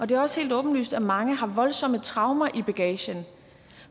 det er også helt åbenlyst at mange har voldsomme traumer i bagagen